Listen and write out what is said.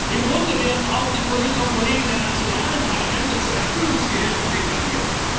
aus. Im Grunde werden auch die Kolleginnen und Kollegen der nationalen Parlamente zu Erfüllungsgehilfen degradiert.